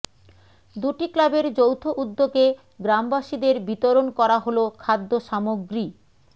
দুটি ক্লাবের যৌথ উদ্যোগে গ্রামবাসীদের বিতরণ করা হল খাদ্য সামগ্রী